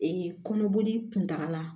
kɔnɔboli kuntagala